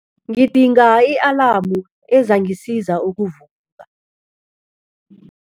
Ngidinga i-alamu ezangisiza ukuvuka.